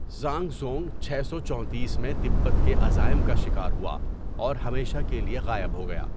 Zhang Zhung چھ سوچونتیس میں تبت کے عزائم کا شکار ہوا اور ہمیشہ کے لیے غائب ہو گیا۔